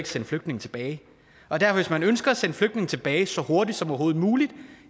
sende flygtninge tilbage og derfor hvis man ønsker at sende flygtninge tilbage så hurtigt som overhovedet muligt er